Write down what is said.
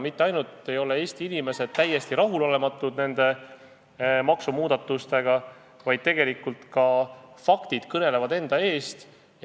Mitte ainult see, et Eesti inimesed on täiesti rahulolematud nende maksumuudatustega, vaid tegelikult ka faktid kõnelevad enda eest.